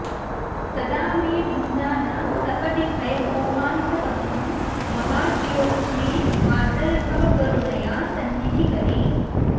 तदा मे भिन्दाना सपदि भयमोहान्धतमसं महाज्योत्स्ने मातर्भव करुणया सन्निधिकरी